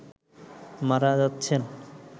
মারা যাচ্ছেন